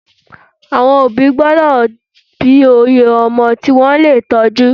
Àwọn òbí gbọ́dọ̀ bí oye ọmọ tí wọ́n lè tọ́jú.